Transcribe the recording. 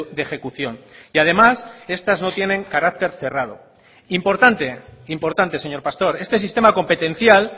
de ejecución y además estas no tienen carácter cerrado importante importante señor pastor este sistema competencial